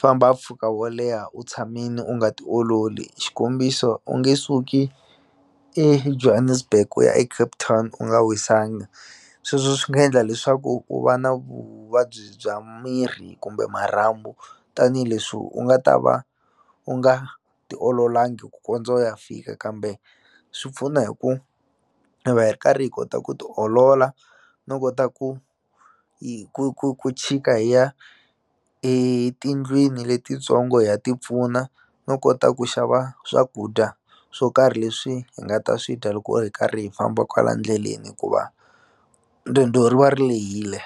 famba mpfhuka wo leha u tshamini u nga tiololi xikombiso u nge suki eJohannesburg u ya eCape Town u nga wisanga sweswo swi nga endla leswaku u va na vuvabyi bya miri kumbe marhambu tanihileswi u nga ta va u nga ti ololangi ku kondza u ya fika kambe swi pfuna hi ku hi va hi ri karhi hi kota ku ti olola no kota ku ku ku ku chika hi ya etindlwini letitsongo hi ya tipfuna no kota ku xava swakudya swo karhi leswi hi nga ta swi dya loko hi karhi hi famba kwala ndleleni hikuva riendzo ri va ri lehile.